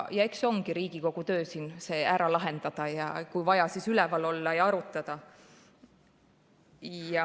Ja eks ongi Riigikogu töö see ära lahendada ja kui vaja, siis üleval olla ja arutada.